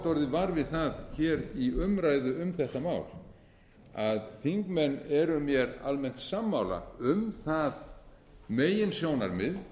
orðið var við það að hér í umræðu um þetta mál að þingmenn eru mér almennt sammála um það meginsjónarmið